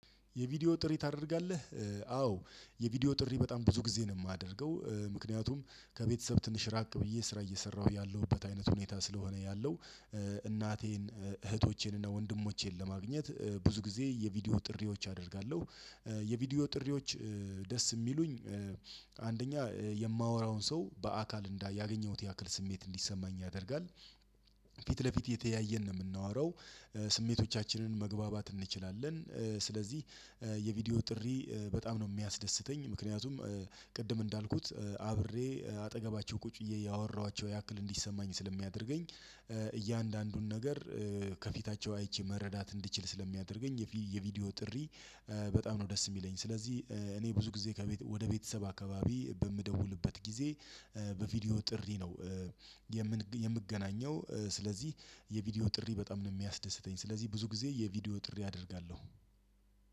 የቪዲዮ ጥሪ ታደርጋለህ? አዎ የቪዲዮ ጥሪ በጣም ብዙ ጊዜ ነው ማደርገው ምክንያቱም ከቤተሰብ ትንሽ ራቅ ብዬ ስራ እየሰራሁ ያለሁበት አይነት ሁኔታ ስለሆነ ያለው እናቴን እህቶቼን እና ወንድሞቼን ለማግኘት ብዙ ጊዜ የቪዲዮ ጥሪዎች አደርጋለሁ። የቪዲዮ ጥሪዎች ደስ የሚሉኝ አንደኛ የማወራውን ሰው በአካል እንዳያገኘሁት ያክል ስሜት እንዲሰማኝ ያደርጋል። ፊት ለፊት እየተያየን ነው የምናወራው። ስሜቶቻችንን መግባባት እንችላለን። ስለዚህ የቪዲዮ ጥሪ በጣም ነው ሚያስደስተኝ ምክንያቱም ቅድም እንዳልኩት አብሬ አጠገባቸው ቁጭ ብዬ እያወራኋቸው ያክል እንዲሰማኝ ስለሚያደርገኝ። እያንዳንዱን ነገር ከፊታቸው አይቼ መረዳት እንድችል ስለሚያደርገኝ። የቪዲዮ ጥሪ በጣም ነው ደስ ሚለኝ። ስለዚህ እኔ ብዙ ጊዜ ከቤት ወደ ቤተሰብ አካባቢ በምደውልበት ጊዜ በቪዲዮ ጥሪ ነው። የምገናኘው ስለዚህ የቪዲዮ ጥሪ በጣም ነው ሚያስደስተኝ ስለዚህ ብዙ ጊዜ የቪዲዮ ጥሪ አደርጋለሁ።